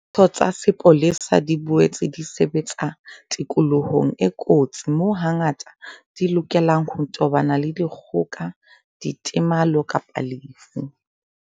Ditho tsa sepolesa di boetse di sebetsa tikolohong e kotsi moo hangata di lokelang ho tobana le dikgoka, ditemalo kapa lefu.